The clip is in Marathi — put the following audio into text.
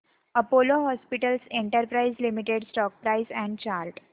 Apollo hospitals enterprises limited stock price and chart